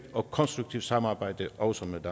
og konstruktivt samarbejde også med